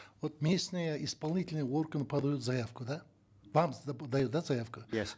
вот местные исполнительные органы подают заявку да вам дают да заявку иә